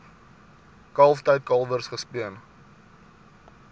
kalftyd kalwers gespeen